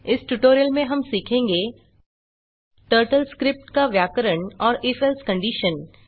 इस ट्यूटोरियल में हम सीखेंगे टर्टल स्क्रिप्ट का व्याकरण और if एल्से कंडिशन